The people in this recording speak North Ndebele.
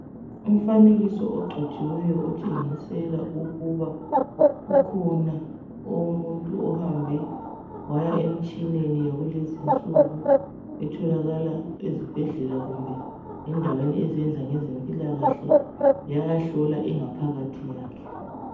Umfanekiso ogcotshiweyo otshengisela ukuba, kukhona umuntu ohambe waya emtshineni yakulezi insuku etholakala ezibhedlela kumbe endaweni ezenza ngezempilakahle, yayahlola ingaphakathi yakhe.